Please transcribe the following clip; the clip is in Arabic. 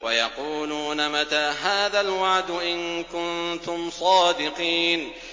وَيَقُولُونَ مَتَىٰ هَٰذَا الْوَعْدُ إِن كُنتُمْ صَادِقِينَ